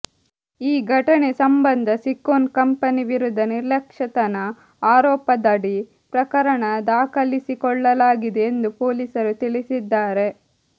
ಈ ಘಟನೆ ಸಂಬಂಧ ಸಿಕೊನ್ ಕಂಪನಿ ವಿರುದ್ಧ ನಿರ್ಲಕ್ಷ್ಯತನ ಆರೋಪದಡಿ ಪ್ರಕರಣ ದಾಖಲಿಸಿಕೊಳ್ಳಲಾಗಿದೆ ಎಂದು ಪೊಲೀಸರು ತಿಳಿಸಿದ್ದಾರೆ